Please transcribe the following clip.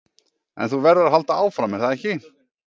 En þú verður að halda áfram, er það ekki?